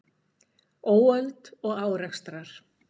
Óöld og árekstrar